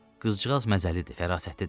Qızcığaz məzəlidir, fərasətlidir.